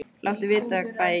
Láttu vita hvað ég get gert.